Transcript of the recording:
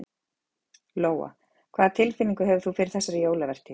Lóa: Hvað tilfinningu hefur þú fyrir þessari jólavertíð?